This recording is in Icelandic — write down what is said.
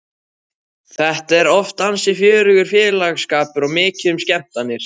Þetta er oft ansi fjörugur félagsskapur og mikið um skemmtanir.